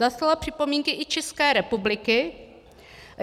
Zaslala připomínky i České republiky.